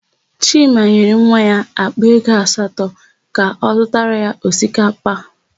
Chima nyere nwa ya àkpà ego asatọ ka ọ zụtara ya osikapa.